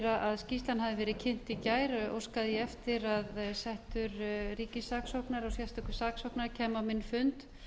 að skýrslan hafði verið kynnt í gær óskaði ég eftir að settur ríkissaksóknari og sérstakur saksóknari kæmu á minn fund